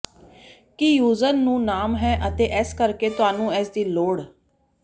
ਕੀ user ਨੂੰ ਨਾਮ ਹੈ ਅਤੇ ਇਸੇ ਕਰਕੇ ਤੁਹਾਨੂੰ ਇਸ ਦੀ ਲੋੜ